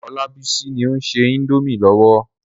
Olabisi ni ó ń se indomie lọ́wọ́.